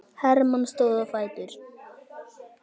Hermann stóð á fætur.